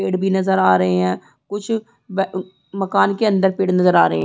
पेड़ भी नज़र आ रहे है कुछ मकान के अंदर पेड़ नज़र आ रहे है।